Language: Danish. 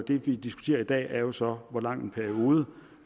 det vi diskuterer i dag er jo så hvor lang en periode